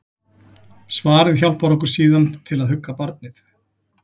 Svarið hjálpar okkur síðan til að hugga barnið.